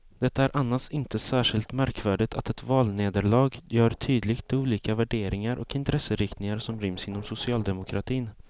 Det är annars inte särskilt märkvärdigt att ett valnederlag gör tydligt de olika värderingar och intresseinriktningar som ryms inom socialdemokratin.